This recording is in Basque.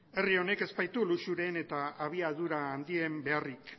herri honek ez baitu luxuen eta abiadura handien beharrik